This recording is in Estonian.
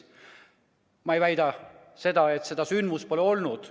Ma ei väida, et seda sündmust pole olnud.